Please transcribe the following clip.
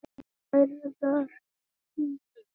Stærðar lón.